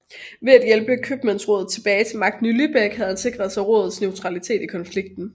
Ved at hjælpe købmandsrådet tilbage til magten i Lübeck havde han sikret sig rådets neutralitet i konflikten